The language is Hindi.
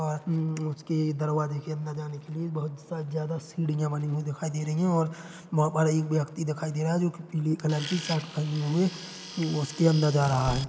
--और अम्म्मम्म उसके दरवाजे के अंदर जाने के लिए बोहत सा ज्यादा सीढ़िया बनी हुई दिखाई दे रही है और वहाँ पर एक व्यक्ति दिखाई दे रहा है जोकि पिली कलर की शर्ट पहने हुए उसके अंदर जा रहा है।